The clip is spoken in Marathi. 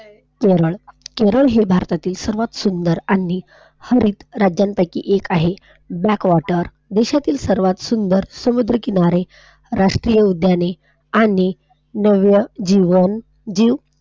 केरळ, केरळ हे भारतातील सर्वांत सुंदर आणि हरित राज्यांपैकी एक आहे. Backwater, देशातील सर्वात सुंदर समुद्र किनारे, राष्ट्रीय उद्याने आणि नव्य जीवन जीव,